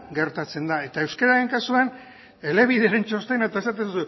gertatzen da eta euskeraren kasuan elebideren txostena eta esaten